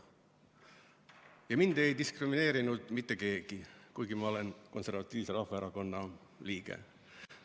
Ja mind ei diskrimineerinud mitte keegi, kuigi ma olen Eesti Konservatiivse Rahvaerakonna liige.